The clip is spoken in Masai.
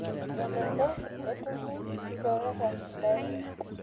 Melelek etumi ilchoreta sidain.